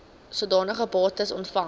sodanige bates ontvang